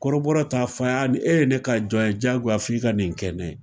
Kɔrɔbɔrɔ t'a f'a ye a e ne ka jɔn ye jagoya f'i ka nin kɛ ne ye